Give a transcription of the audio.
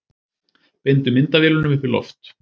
Beindu myndavélunum upp í loft